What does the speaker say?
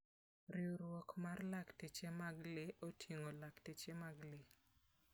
Riwruok mar lakteche mag le oting'o lakteche mag le.